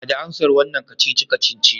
Bada amsar wannan kacici-kacici